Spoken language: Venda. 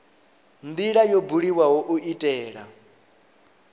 ndila yo buliwaho u itela